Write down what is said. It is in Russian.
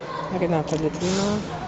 рената литвинова